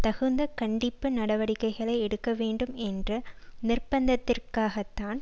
தகுந்த கண்டிப்பு நடவடிக்கைகளை எடுக்க வேண்டும் என்று நிர்பந்திப்பதற்காகத்தான்